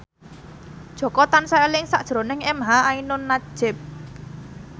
Jaka tansah eling sakjroning emha ainun nadjib